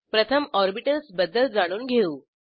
प्रथम ऑर्बिटल्स बद्दल जाणून घेऊ